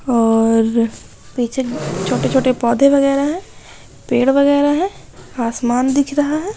और पीछे छोटे-छोटे पौधे वैगरह हैं पैड़ वैगरह हैं आसमान दिख रहा है।